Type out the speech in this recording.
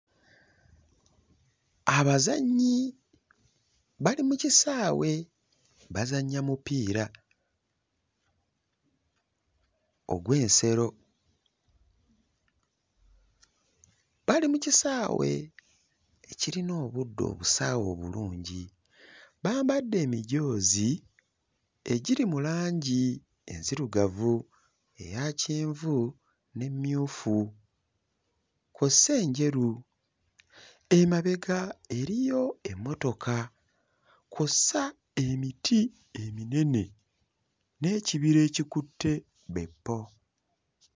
Abazannyi bali mu kisaawe bazannya mupiira ogw'ensero, bali mu kisaawe ekirina obuddo obusaawe obulungi, bambadde emijoozi egiri mu langi enzirugavu, eya kyenvu n'emmyufu kw'ossa enjeru, emabega eriyo emmotoka kw'ossa emiti eminene n'ekibira ekikutte bwe ppo.